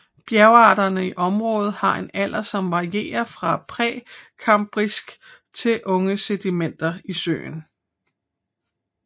Bjergarterne i området har en alder som varierer fra prekambrisk til unge sedimenter i søen